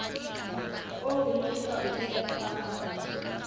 oo le ka o tshepang